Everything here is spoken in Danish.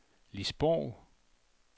Lis Borg